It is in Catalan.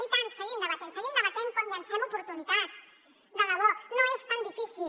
i tant seguim debatent seguim debatent com llancem oportunitats de debò no és tan difícil